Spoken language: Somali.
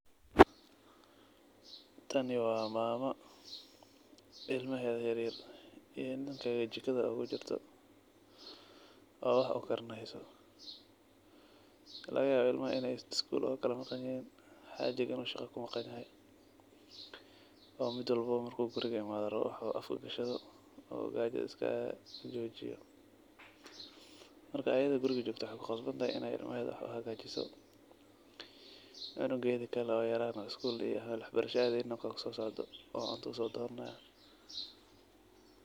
Tani waa maama ilmaheeda yaryar iyo ninkeeda jika oogu jirto, oo wax u karineyso, laga yawaa ilmaha in ay iskuul ooga kala maqan yihiin, xaajig in uu shaqa ku maqan yaho .Waqti walbo bo markuu guriga imaado in uu rabo wax uu afka gashado oo gaja iskaga qaboojiyo. Markaa ayade waxey klu qasban tah in ay ilmaheeda wax u hagaajiso, cunugeedi kale oo yaraa na iskuul iyo wax barasha adeynin na wakaa kusoo socdo oo cunta soo donanaayo.